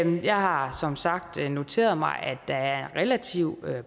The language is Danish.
jeg har som sagt noteret mig at der er relativt